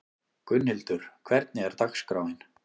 Gunnhildur, hvernig er dagskráin?